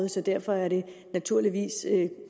så derfor er det naturligvis